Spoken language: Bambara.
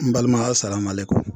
N balima asalamalekun.